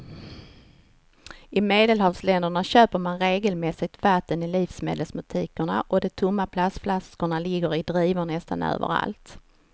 I medelhavsländerna köper man regelmässigt vatten i livsmedelsbutikerna och de tomma plastflaskorna ligger i drivor nästan överallt.